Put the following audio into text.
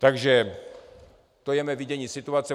Takže to je mé vidění situace.